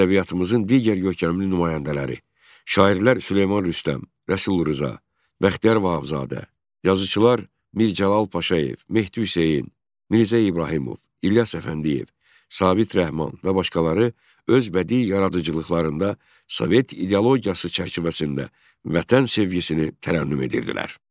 Ədəbiyyatımızın digər görkəmli nümayəndələri, şairlər Süleyman Rüstəm, Rəsul Rza, Bəxtiyar Vahabzadə, yazıçılar Mirzə Cəlal Paşayev, Mehdi Hüseyn, Mirzə İbrahimov, İlyas Əfəndiyev, Sabit Rəhman və başqaları öz bədii yaradıcılıqlarında Sovet ideologiyası çərçivəsində vətən sevgisini tərənnüm edirdilər.